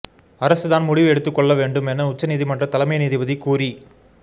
அரசுதான் முடிவு எடுத்துக்கொள்ள வேண்டும் என உச்சநீதிமன்றத் தலைமை நீதிபதி கூறி